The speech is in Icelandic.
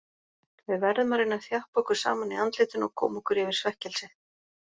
Við verðum að reyna að þjappa okkur saman í andlitinu og koma okkur yfir svekkelsið.